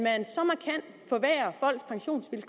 altså